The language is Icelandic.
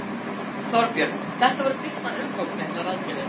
Þorbjörn þetta voru býsna umfangsmiklar aðgerðir?